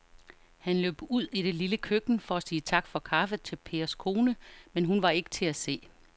Han løb ud i det lille køkken for at sige tak for kaffe til Pers kone, men hun var ikke til at se.